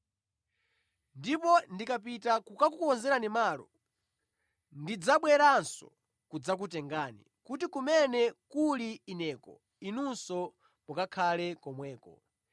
Ndipo ndikapita kukakukonzerani malo, ndidzabweranso kudzakutengani, kuti kumene kuli Ineko, inunso mukakhale komweko.